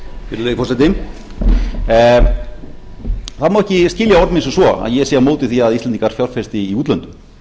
virðulegi forseti það má ekki skilja orð mín sem svo að ég sé á móti því að íslendingar fjárfesti í útlöndum